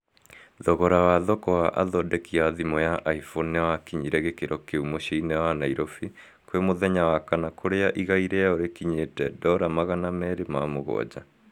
thogora wa thoko wa athondeki a thimũ ya iphone niwakinyire gĩkĩro kĩu mũcii-inĩ wa nairofi kwĩ mũthenya wa kana kũrĩa rĩgai rwao rũkinyĩte dora magana merĩ na mũgwanja